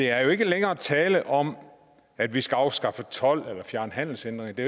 er jo ikke længere tale om at vi skal afskaffe told eller fjerne handelshindringer det